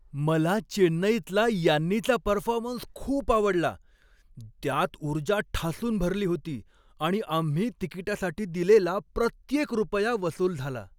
मला चेन्नईतला यान्नीचा परफॉर्मन्स खूप आवडला. त्यात ऊर्जा ठासून भरली होती आणि आम्ही तिकिटासाठी दिलेला प्रत्येक रुपया वसूल झाला.